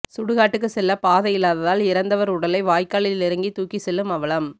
சுடுகாட்டுக்கு செல்ல பாதையில்லாததால் இறந்தவர் உடலை வாய்க்காலில் இறங்கி தூக்கி செல்லும் அவலம்